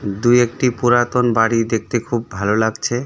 দুই একটি পুরাতন বাড়ি দেখতে খুব ভালো লাগছে।